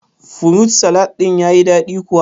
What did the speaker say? Furut salad din ya yi daɗi kuwa?